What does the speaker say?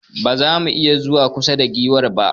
Ba za mu iya zuwa kusa da giwar ba.